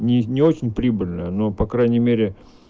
не не очень прибыльно но по крайней мере